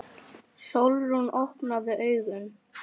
Sólrún, opnaðu augun!